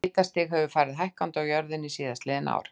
Hitastig hefur farið hækkandi á jörðinni síðastliðin ár.